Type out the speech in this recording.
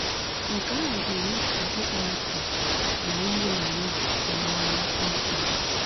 Nke ahụ ga-eme ka ịkpọasị na iyi ọha egwu pụọ n’anya kpamkpam